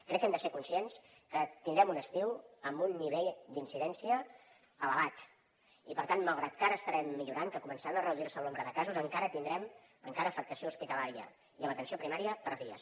crec que hem de ser conscients que tindrem un estiu amb un nivell d’incidència elevat i per tant malgrat que ara estarem millorant que començaran a reduir se el nombre de casos encara tindrem encara afectació hospitalària i a l’atenció primària per a dies